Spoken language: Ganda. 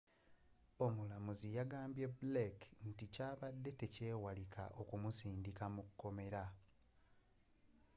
omulamuzzi yagambye blake nti kyabadde tekyewalika okumusindika mukomera